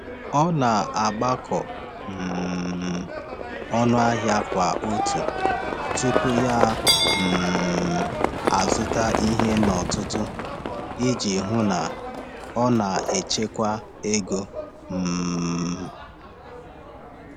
Ọ na-agbakọ um ọnụ ahịa kwa otu tupu ya um azụta ihe n’ọtụtù iji hụ na ọ na-echekwa ego. um